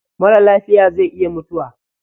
Marar lafiya zai iya mutuwa.